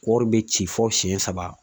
Kɔɔri be ci fɔ siyɛn saba